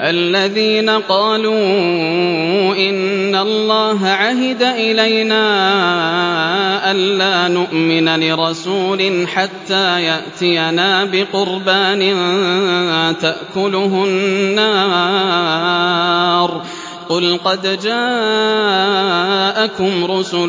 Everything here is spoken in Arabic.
الَّذِينَ قَالُوا إِنَّ اللَّهَ عَهِدَ إِلَيْنَا أَلَّا نُؤْمِنَ لِرَسُولٍ حَتَّىٰ يَأْتِيَنَا بِقُرْبَانٍ تَأْكُلُهُ النَّارُ ۗ قُلْ قَدْ جَاءَكُمْ رُسُلٌ